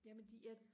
jamen de ja